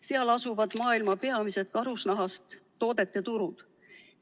Seal asuvad maailma peamised karusnahast toodete turud.